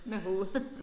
Med hovedet